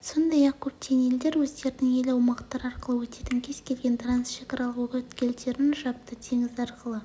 сондай-ақ көптеген елдер өздерінің ел аумақтары арқылы өтетін кез келген трансшекаралық өткелдерін жапты теңіз арқылы